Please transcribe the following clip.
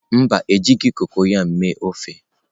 Mba, e jighị koko ya mee ofe.